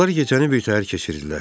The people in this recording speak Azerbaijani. Onlar gecəni bir təhər keçirdilər.